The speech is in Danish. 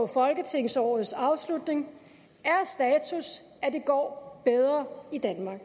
folketingsårets afslutning er status at det går bedre i danmark